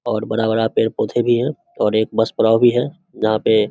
और बड़ा-बड़ा पेड़-पौधे भी है और एक बस पड़ा भी है जहां पे --